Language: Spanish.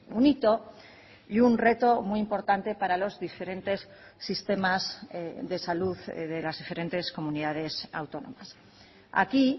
un hito y un reto muy importante para los diferentes sistemas de salud de las diferentes comunidades autónomas aquí